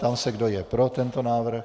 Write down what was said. Ptám se, kdo je pro tento návrh.